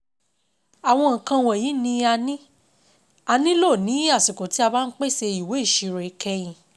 Àwọn nǹkan wọ̀nyí ni a ni a nílò ní àsìkò tí a bá ń pèsè ìwé ìṣirò ìkẹyìn.